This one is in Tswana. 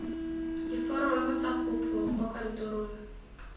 diforomo tsa kopo kwa kantorong